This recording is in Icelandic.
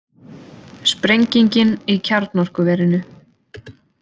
Sprengingin í kjarnorkuverinu